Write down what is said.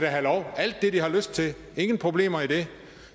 have lov alt det de har lyst til ingen problemer i det